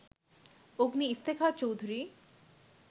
Agni Iftekhar Chowdhury